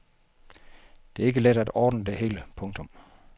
Det er ikke let at ordne det hele. punktum